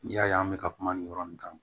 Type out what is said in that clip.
N'i y'a ye an bɛ ka kuma nin yɔrɔ nin kan